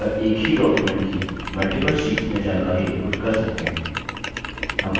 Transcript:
ये एक ही document की multiple शीट्स में जानकारी input कर सकते हैं